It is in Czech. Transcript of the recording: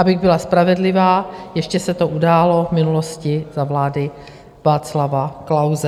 Abych byla spravedlivá, ještě se to událo v minulosti za vlády Václava Klause.